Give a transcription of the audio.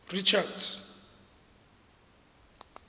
richards